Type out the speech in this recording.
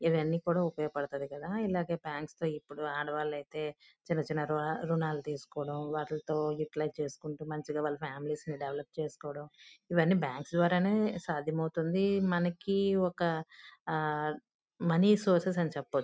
ఇవన్నీ కూడా ఉపయోగ పడతాయి కదా. ఇలాగె ఫాన్సీ తో ఇప్పుడు ఆడవాళ్ళైతే చిన్న చిన్న రుణాలు తీసుకోడం వాటిలితో యూటిలైస్ చేసుకుంటూ మంచిగా వాళ్ళ ఫామిలీస్ ని డెవలప్ చేస్కోడామా ఇవన్నీ బ్యాంక్స్ ద్వారే నే సాధ్యమవుతుంది. మనకి ఒక ఆ మనీ సోర్సెస్ అని చెప్పచ్చు.